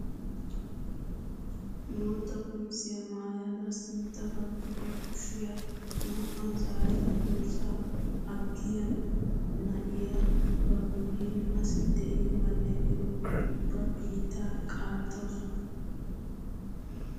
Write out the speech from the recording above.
Bootta qamisiyaa maayada sintta baggi ba kushiyaa naa"aa zaarada durssaa aggiyaa na'iyaa ba guyen asi de'iyoobanne erukku ubba biittaa qaattawus!